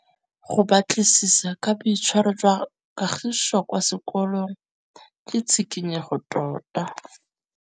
Go batlisisa ka boitshwaro jwa Kagiso kwa sekolong ke tshikinyêgô tota.